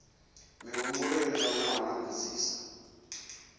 mihumbulo yo livhanaho na mbudziso